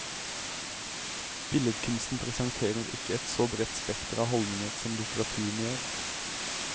Billedkunsten presenterer ikke et så bredt spekter av holdninger som litteraturen gjør.